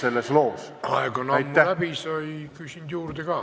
Aeg on ammu läbi, sa ei küsinud juurde ka.